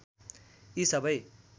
यी सबै